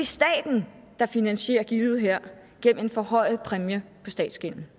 staten der finansierer gildet her gennem en forhøjet præmie på statsgælden